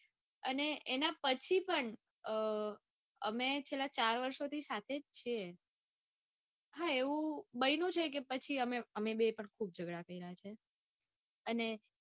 અને એના પછી પણ અઅઅ છેલ્લા ચાર વરસથી સાથે જ છે. હા એવું બન્યું છે કે અમે બંને એ પણ ખુબ જગડા કર્યા છીએ. અને